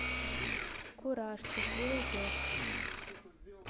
кураж трусливый пес